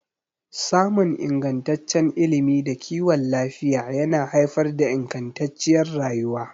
Samun ingantaccen ilimi da kiwon lafiya yana haifar da ingantacciyar rayuwa.